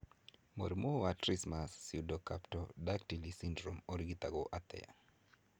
Mũrimũ wa Trismus pseudocamptodactyly syndrome ũngĩrigitwo atĩa?